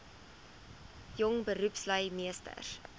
jong beroepslui meesters